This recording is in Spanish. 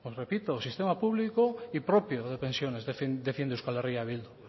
repito sistema público y propio de pensiones defiende euskal herria bildu